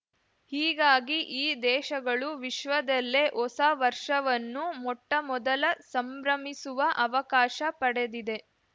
ಹೀಗಾಗಿ ಈ ದೇಶಗಳು ವಿಶ್ವದಲ್ಲೇ ಹೊಸ ವರ್ಷವನ್ನು ಮೊಟ್ಟಮೊದಲ ಸಂಭ್ರಮಿಸುವ ಅವಕಾಶ ಪಡೆದಿದೆ